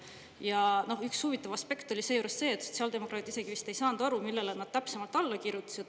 Ja üks huvitav aspekt oli seejuures see, et sotsiaaldemokraadid isegi vist ei saanud aru, millele nad täpsemalt alla kirjutasid.